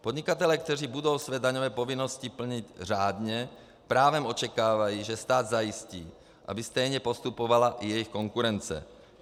Podnikatelé, kteří budou své daňové povinnosti plnit řádně, právem očekávají, že stát zajistí, aby stejně postupovala i jejich konkurence.